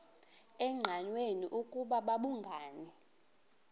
engqanweni ukuba babhungani